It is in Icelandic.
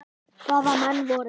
Hvaða menn voru það?